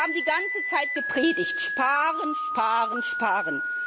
Sie haben die ganze Zeit gepredigt sparen, sparen, sparen!